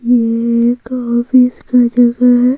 ये एक ऑफिस का जगह है।